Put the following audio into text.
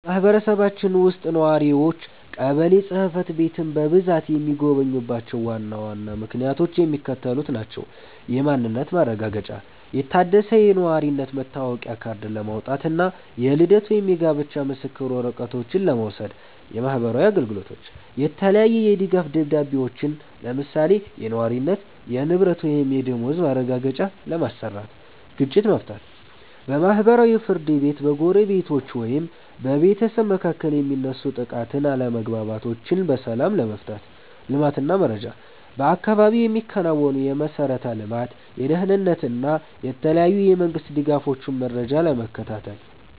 በማህበረሰባችን ውስጥ ነዋሪዎች ቀበሌ ጽሕፈት ቤትን በብዛት የሚጎበኙባቸው ዋና ዋና ምክንያቶች የሚከተሉት ናቸው፦ የማንነት ማረጋገጫ፦ የታደሰ የነዋሪነት መታወቂያ ካርድ ለማውጣት እና የልደት ወይም የጋብቻ ምስክር ወረቀቶችን ለመውሰድ። የማህበራዊ አገልግሎት፦ የተለያየ የድጋፍ ደብዳቤዎችን (የነዋሪነት፣ የንብረት ወይም የደመወዝ ማረጋገጫ) ለማሰራት። ግጭት መፍታት፦ በማህበራዊ ፍርድ ቤት በጎረቤቶች ወይም በቤተሰብ መካከል የሚነሱ ጥቃቅን አለመግባባቶችን በሰላም ለመፍታት። ልማት እና መረጃ፦ በአካባቢው የሚከናወኑ የመሠረተ ልማት፣ የደህንነት እና የተለያዩ የመንግስት ድጋፎችን መረጃ ለመከታተል።